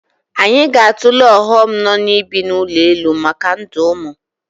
Anyị ga-atụle ọghọm nọ n'ibi n'ụlọ elu maka ndụ ụmụ